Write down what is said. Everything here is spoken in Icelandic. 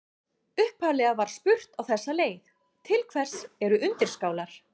Upphaflega var spurt á þessa leið: Til hvers eru undirskálar?